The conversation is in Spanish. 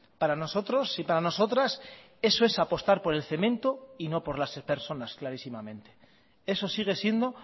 para nosotros y para nosotras eso es apostar por el cemento y no por las personas clarísimamente eso sigue siendo